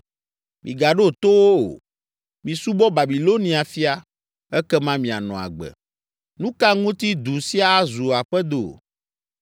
Migaɖo to wo o. Misubɔ Babilonia fia, ekema mianɔ agbe. Nu ka ŋuti du sia azu aƒedo?